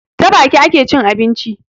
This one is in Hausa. Ta baki ake cin abinci